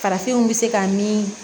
Farafinw bɛ se ka min